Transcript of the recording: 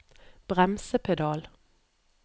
bremsepedal